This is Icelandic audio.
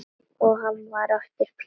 Það var nú samt þannig.